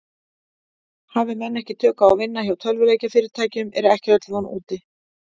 Hafi menn ekki tök á að vinna hjá tölvuleikjafyrirtækjum er ekki öll von úti.